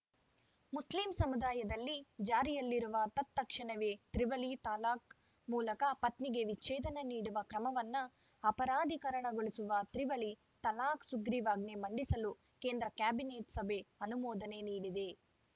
Muslim ಸಮುದಾಯದಲ್ಲಿ ಜಾರಿಯಲ್ಲಿರುವ ತತ್‌ಕ್ಷಣವೇ ತ್ರಿವಳಿ ತಲಾಖ್‌ ಮೂಲಕ ಪತ್ನಿಗೆ ವಿಚ್ಛೇದನ ನೀಡುವ ಕ್ರಮವನ್ನು ಅಪರಾಧೀಕರಣಗೊಳಿಸುವ ತ್ರಿವಳಿ ತಲಾಖ್‌ ಸುಗ್ರೀವಾಜ್ಞೆ ಮಂಡಿಸಲು ಕೇಂದ್ರ ಕ್ಯಾಬಿನೆಟ್‌ ಸಭೆ ಅನುಮೋದನೆ ನೀಡಿದೆ